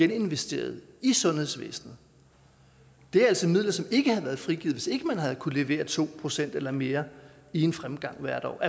geninvesteret i sundhedsvæsenet det er altså midler som ikke havde været frigivet hvis ikke man havde kunnet levere to procent eller mere i en fremgang hvert år og